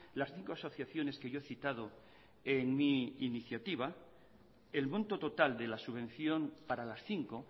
las cinco asociaciones que yo he citado en mi iniciativa el monto total de la subvención para las cinco